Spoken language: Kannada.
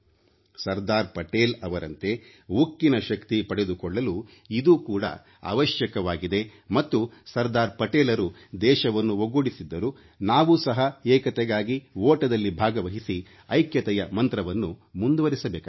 ಸರ್ದಾರ್ ಪಟೇಲ್ ಅವರಂತೆ ಉಕ್ಕಿನ ಶಕ್ತಿ ಪಡೆದುಕೊಳ್ಳಲು ಇದು ಕೂಡ ಅವಶ್ಯಕವಾಗಿದೆ ಮತ್ತು ಸರ್ದಾರ್ ಪಟೇಲರು ದೇಶವನ್ನು ಒಗ್ಗೂಡಿಸಿದ್ದರು ನಾವು ಸಹ ಏಕತೆಗಾಗಿ ಓಟದಲ್ಲಿ ಭಾಗವಹಿಸಿ ಐಕ್ಯತೆಯ ಮಂತ್ರವನ್ನು ಮುಂದುವರಿಸಬೇಕಾಗಿದೆ